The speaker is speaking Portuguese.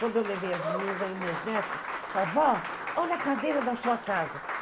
Quando eu levei as meninas, meus netos, falaram, vó, olha a cadeira da sua casa.